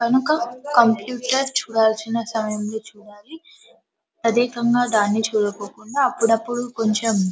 కనుక కంప్యూటర్ చూడాల్సిన సమయంలో చూడాలి ప్రత్యేకంగా దాన్నే చూడ కోకుండా అప్పుడప్పుడు కొంచం --